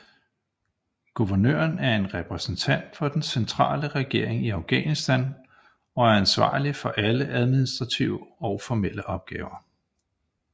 Guvernøren er repræsentent for den centrale regering i Afghanistan og er ansvarlig for alle administrative og formelle opgaver